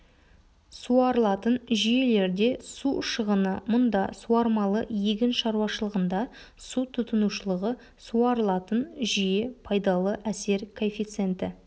суарылатын жүйелерде су шығыны мұнда суармалы егін шаруашылығында су тұтынушылығы суарылатын жүйе пайдалы әсер коэффициенті